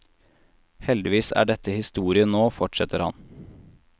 Heldigvis er dette historie nå, fortsetter han.